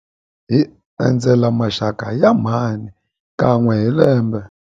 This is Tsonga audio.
Hi endzela maxaka ya mhani kan'we hi lembe.